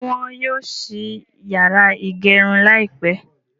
Ṣé wọ́n yóò ṣí yàrá ìgẹrun láìpẹ́?